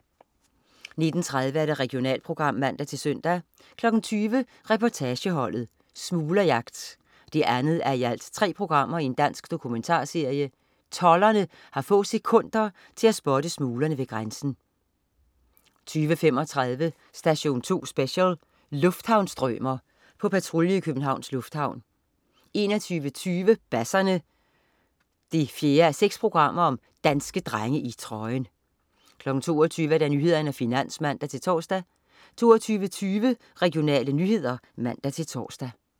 19.30 Regionalprogram (man-søn) 20.00 Reportageholdet: Smuglerjagt 2:3. Dansk dokumentarserie. Tolderne har få sekunder til at spotte smuglerne ved grænsen 20.35 Station 2 Special: Lufthavnsstrømer. På patrulje i Københavns Lufthavn 21.20 Basserne 4:6. Danske drenge i trøjen! 22.00 Nyhederne og Finans (man-tors) 22.20 Regionale nyheder (man-tors)